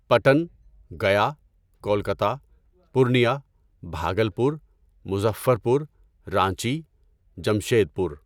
Patan, Gaya, Kolkata, Purnia, Bhagalpur, Muzaffarpur, Ranchi, Jamshedpur